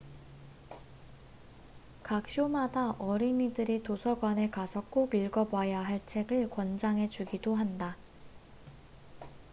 각 쇼마다 어린이들이 도서관에 가서 꼭 읽어봐야 할 책을 권장해 주기도 한다